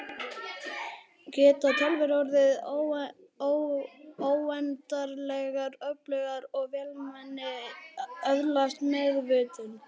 Geta tölvur orðið óendanlegar öflugar og vélmenni öðlast meðvitund?